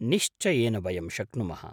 निश्चयेन वयं शक्नुमः।